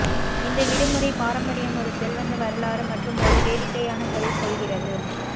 இந்த விடுமுறை பாரம்பரியம் ஒரு செல்வந்த வரலாறு மற்றும் ஒரு வேடிக்கையான கதை சொல்கிறது